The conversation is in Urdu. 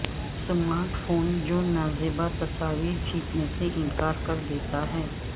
اسمارٹ فون جو نازیبا تصاویر کھینچنے سے انکار کر دیتا ہے